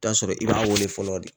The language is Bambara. Taa sɔrɔ i b'a wele fɔlɔ de.